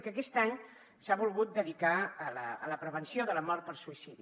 i que aquest any s’ha volgut dedicar a la prevenció de la mort per suïcidi